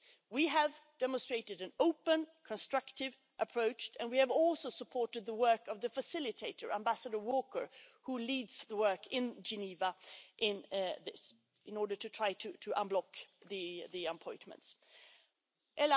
We have demonstrated an open, constructive approach, and we have also supported the work of the facilitator, Ambassador Walker, who leads the work in Geneva in this in order to try to unblock appointments to the body.